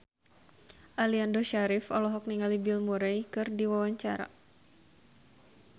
Aliando Syarif olohok ningali Bill Murray keur diwawancara